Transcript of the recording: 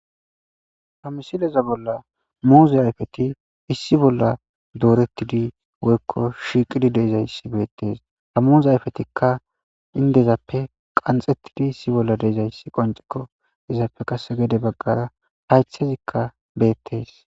hamisileza bolla muuzi ayfeti issi bolla doorettidi woykko shiiqidi deeizayssi beettes hamuuza ayfetikka indezappe qanxettidi issi bolla deezayssi qoncikko izappe qase gede baggara haythezikka beettes